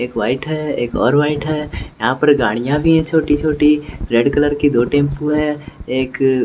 एक वाइट है एक और वाइट है यहां पर गाड़ियां भी है छोटी-छोटी रेड कलर की दो टेंपू है एक--